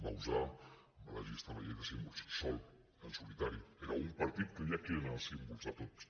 bauzá va registrar la llei de símbols sol en solitari era un partit que deia quins eren els símbols de tots